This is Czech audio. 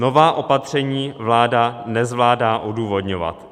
Nová opatření vláda nezvládá odůvodňovat.